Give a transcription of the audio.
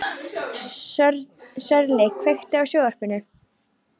Sörli, kveiktu á sjónvarpinu.